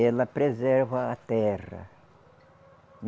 Ela preserva a terra.